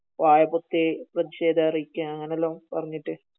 വായ പൊതി പ്രതിഷേധം അറിയിക്ക അങ്ങിനെ എല്ലാം പറഞ്ഞിട്ട്